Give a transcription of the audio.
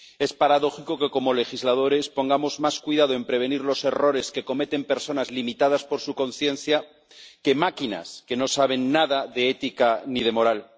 Es paradójico que, como legisladores, pongamos más cuidado en prevenir los errores que cometen personas, limitadas por su conciencia, que máquinas que no saben nada de ética ni de moral.